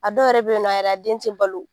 A dɔw yɛrɛ bɛ ye nɔ a yɛrɛ a den tɛ balo.